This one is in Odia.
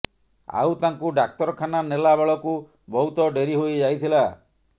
ଆଉ ତାଙ୍କୁ ଡାକ୍ତରଖାନା ନେଲା ବେଳକୁ ବହୁତ ଡ଼େରୀ ହୋଇଯାଇଥିଲା